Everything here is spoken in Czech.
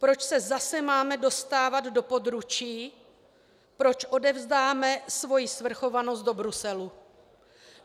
Proč se zase máme dostávat do područí, proč odevzdáme svoji svrchovanosti do Bruselu?